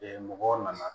mɔgɔw nana